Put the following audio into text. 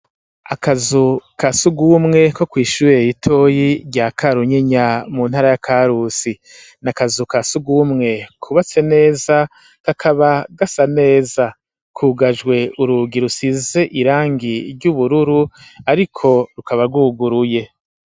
Akazu ka sugumwe ko kw'ishure ritoyi rya Karunyinya mu ntara ya Karusi n'akazu ka sugumwe kubatse neza kakaba gasa neza kugajwe urugi rusize irangi ry'ubururu ariko rukaba rwuguruye.